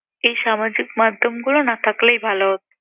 এই সামাজিক মাধ্যমগুলো না থাকলেই ভাল হত।